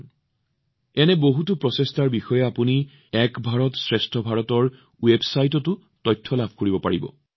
এই মনোভাৱ কঢ়িয়াই নিয়া এনে বহুতো প্ৰচেষ্টাৰ বিষয়ে আপুনি এক ভাৰত শ্ৰেষ্ঠ ভাৰতৰ ৱেবছাইটতো তথ্য লাভ কৰিব